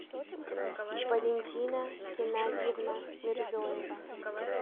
валентина геннадьевна мирзоева